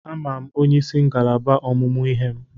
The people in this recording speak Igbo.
Ama m onyeisi ngalaba ọmụmụ ihe m.